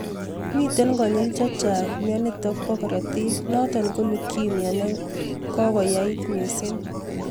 Miten konyil chechang myonitok bo korotik noton ko leukemia nekakoyait missing